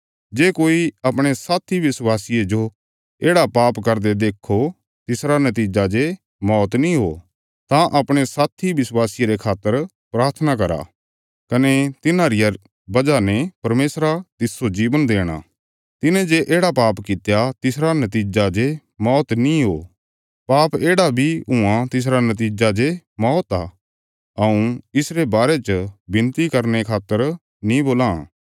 जे कोई अपणे साथी विश्वासिये जो येढ़ा पाप करदे देक्खो तिसरा नतीजा जे मौत नीं हो तां अपणे साथी विश्वासिये रे खातर प्राथना करा कने तिन्हां रिया वजह ने परमेशरा तिस्सो जीवन देणा तिन्हें जे येढ़ा पाप कित्या जिसरा नतीजा जे मौत नीं हो पाप येढ़ा बी हुआं तिसरा नतीजा जे मौत आ हऊँ इसरे बारे च विनती करने खातर नीं बोलां